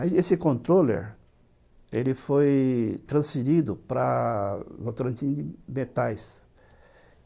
Aí, esse controller, ele foi transferido para Votorantim de Metais.